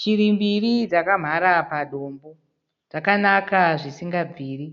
Shiri mbiri dzakamhara padombo ,dzakanaka zvisingabviri.